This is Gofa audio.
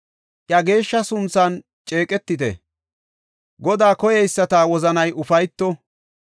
Iya geeshsha sunthan ceeqetite; Godaa koyeyisata wozanay ufayto.